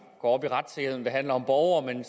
går op i retssikkerheden når den handler om borgere men